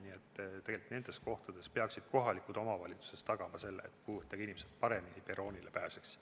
Nii et nendes kohtades peaksid kohalikud omavalitsused tagama selle, et puudega inimesed paremini perroonile pääseksid.